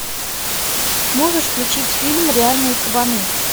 можешь включить фильм реальные кабаны